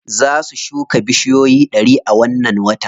Za su shuka bushiyoyi ɗari a wannan watan.